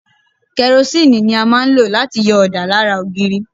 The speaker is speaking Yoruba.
Kẹrosínìì ni a máa ń lò láti yọ ọ̀dà lára ògiri.